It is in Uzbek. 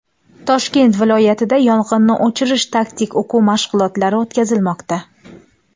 Toshkent viloyatida yong‘inni o‘chirish taktik o‘quv mashg‘ulotlari o‘tkazilmoqda.